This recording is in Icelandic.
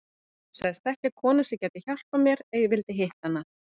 Hún sagðist þekkja konu sem gæti hjálpað mér ef ég vildi hitta hana.